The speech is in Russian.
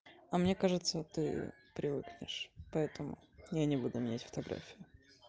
а мне кажется вот привыкнешь поэтому я не буду менять фотографию